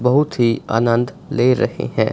बहुत ही आनंद ले रहे हैं।